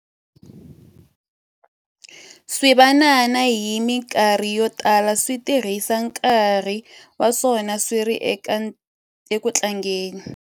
Swivanana hi mikarhi yo tala swi tirhisa nkarhi wa swona swi ri eku tlangeni.